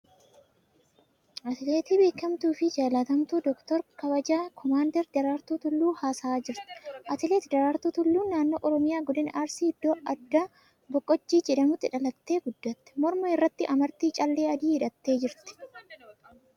Atileetii beekamtuu fi jaalatamtuu Dooktara Kabajaa koomaandar Daraartuu Tulluu haasa'a taasisaa jirti. Atileet Daraartuu Tulluu naannoo Oromiyaa godina Arsii iddoo addaa Baqojjii jedhamutti dhalattee guddatte. Morma irratti amartii callee adii hidhattee jirti.